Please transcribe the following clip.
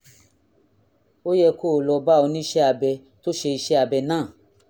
ó yẹ kó o lọ bá oníṣẹ́ abẹ tó ṣe iṣẹ́ abẹ náà